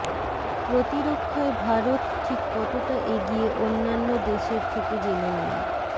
প্রতিরক্ষায় ভারত ঠিক কতটা এগিয়ে অন্যান্য দেশের থেকে জেনে নিন